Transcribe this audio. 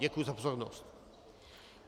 Děkuji za pozornost.